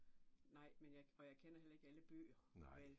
Nej, men jeg kan og jeg kender heller ikke alle bøger, vel